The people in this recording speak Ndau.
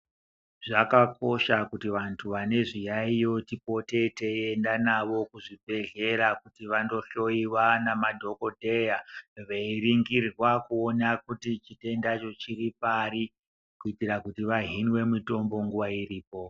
Zvakakosha kuti vantu vane zviyaiyo tipote teienda navo kuzvibhehlera kuti vandohloyiwa namadhokodheya veiringirwa kuti chitendacho chiri pai kuitira kuti vahinwe mitombo nguwa iripo.